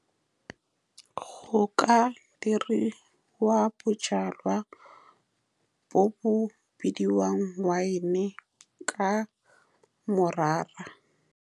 Go ka diriwa bojalwa bo bo bidiwang wine ka morara.